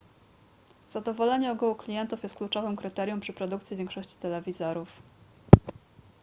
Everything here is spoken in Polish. zadowolenie ogółu klientów jest kluczowym kryterium przy produkcji większości telewizorów